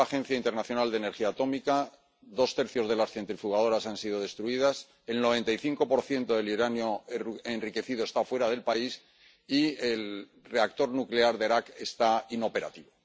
Según la Agencia Internacional de Energía Atómica, dos tercios de las centrifugadoras han sido destruidas, el 95 del uranio enriquecido está fuera del país y el reactor nuclear de Arak está inoperativo.